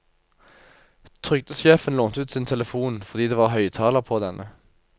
Trygdesjefen lånte ut sin telefon, fordi det var høyttaler på denne.